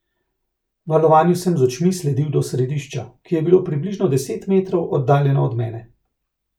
Valovanju sem z očmi sledil do središča, ki je bilo približno deset metrov oddaljeno od mene.